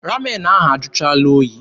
Ramen ahụ ajụchaala oyi.